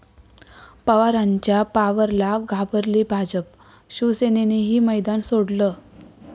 पवारांच्या 'पॉवर'ला घाबरली भाजप, शिवसेनेनंही मैदान सोडलं!